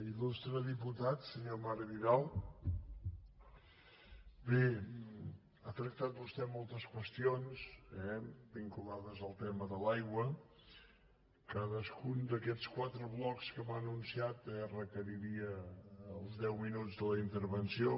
il·putat senyor marc vidal bé ha tractat vostè moltes qüestions vinculades al tema de l’aigua cadascun d’aquests quatre blocs que m’ha anunciat requeriria els deu minuts de la intervenció